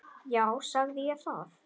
Já, sagði ég það?